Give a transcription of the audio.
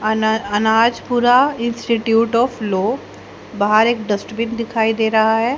अन अनाज पूरा institute of law बाहर एक डस्टबिन दिखाई दे रहा है।